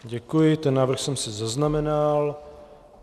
Děkuji, ten návrh jsem si zaznamenal.